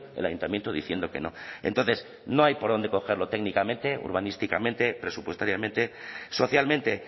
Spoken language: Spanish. el ayuntamiento diciendo que no entonces no hay por dónde cogerlo técnicamente urbanísticamente presupuestariamente socialmente